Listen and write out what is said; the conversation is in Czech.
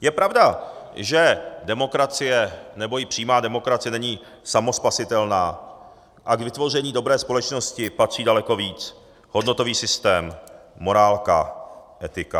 Je pravda, že demokracie, nebo i přímá demokracie není samospasitelná a k vytvoření dobré společnosti patří daleko víc, hodnotový systém, morálka, etika.